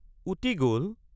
উটি গল!